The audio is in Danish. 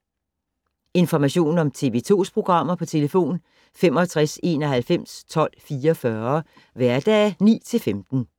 Information om TV 2's programmer: 65 91 12 44, hverdage 9-15.